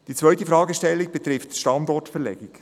Die zweite Fragestellung betrifft die Standortverlegung.